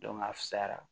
a fisayara